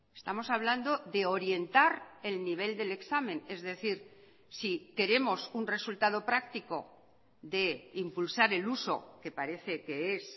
estamos hablando de orientar el nivel del examen es decir si queremos un resultado práctico de impulsar el uso que parece que es